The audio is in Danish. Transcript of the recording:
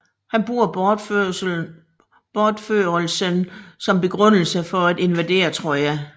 Han bruger bortførelsen som begrundelse for at invadere Troja